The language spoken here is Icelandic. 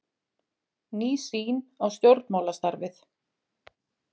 Ný sýn á stjórnmálastarfið